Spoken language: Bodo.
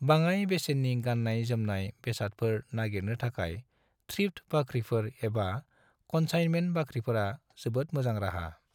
बाङाय बेसेन्नि गान्नाय-जोमनाय बेसादफोर नागिरनो थाखाय थ्रिफ्ट बाख्रिफोर एबा कन्साइनमेन्ट बाख्रिफोरा जोबोद मोजां राहा।